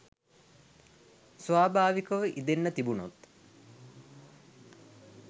ස්වාභාවිකව ඉදෙන්න තිබුනොත්